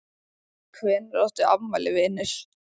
Hvenær áttu afmæli vinur?